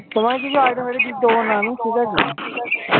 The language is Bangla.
তোমাকে কিছু আজেবাজে কিছু দেব না আমি ঠিকাছে?